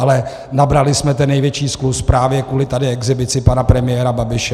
Ale nabrali jsme ten největší skluz právě kvůli tady exhibici pana premiéra Babiše.